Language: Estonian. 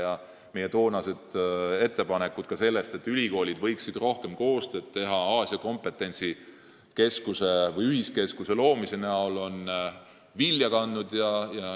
Ka meie toonased ettepanekud selle kohta, et ülikoolid võiksid Aasia kompetentsi ühiskeskuse loomise kaudu rohkem koostööd teha, on vilja kandnud.